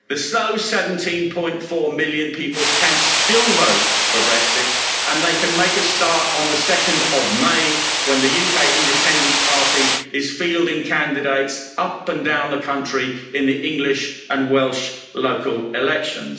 Those 17.4 million people can still vote for Brexit, and they can make a start on 2 May when the UK Independence Party is fielding candidates up and down the country in the English and Welsh local elections.